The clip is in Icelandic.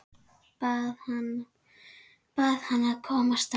Bað hana að koma strax.